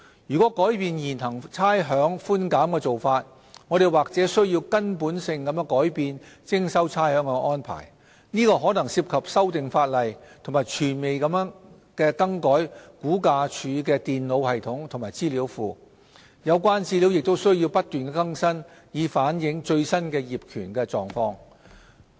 若改變現行差餉寬減的做法，我們或須根本性地改變徵收差餉的安排，這可能涉及修訂法例和全面地更改估價署的電腦系統及資料庫，有關資料亦須不斷更新以反映最新的業權狀況。